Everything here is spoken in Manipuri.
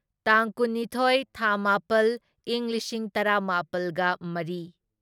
ꯇꯥꯡ ꯀꯨꯟꯅꯤꯊꯣꯢ ꯊꯥ ꯃꯥꯄꯜ ꯢꯪ ꯂꯤꯁꯤꯡ ꯇꯔꯥꯃꯥꯄꯜꯒ ꯃꯔꯤ